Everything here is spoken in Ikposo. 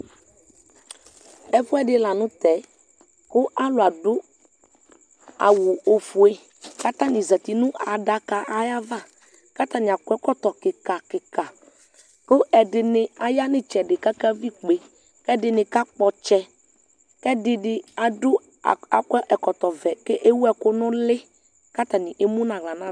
Ɛfuɛdi la nu tɛ ku alu adu awu ofue katani ezati nu adakayɛ ayava katani akɔ ɛkɔtɔ kika kika ku ɛdini ya nu itsɛdi kakavi ikpe ɛdini kakpɔ ɔtsɛ kɛdini akɔ ɛkɔtɔ vɛ ewu ɛku nu uli katani emu nu aɣla nava